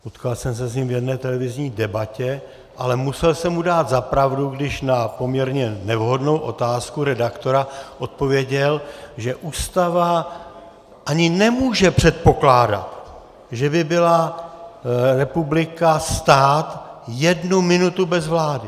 Potkal jsem se s ním v jedné televizní debatě, ale musel jsem mu dát za pravdu, když na poměrně nevhodnou otázku redaktora odpověděl, že Ústava ani nemůže předpokládat, že by byla republika, stát, jednu minutu bez vlády.